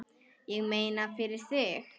Ég meina, fyrir þig.